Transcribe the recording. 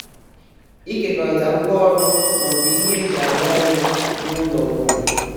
ịkekọrịta ngwá ọrụ ma ọ bụ ihe eji arụ ọrụ n'ụlọ bụ